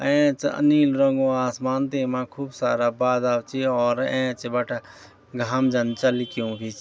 ऐंच अ नीलू रंगो आसमान तेमा खूब सारा बादल च और ऐंच बटे घाम जन चल्क्युं भी च।